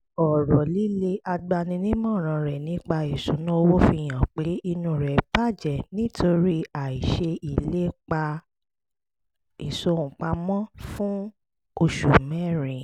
ọ̀rọ̀ líle agbaninímọ̀ràn rẹ̀ nípa ìṣúnná owó fi hàn pé inú rẹ̀ bàjẹ́ nítorí àìṣe ìlépa ìsọ̀ǹpamọ́ fún oṣù mẹ́rin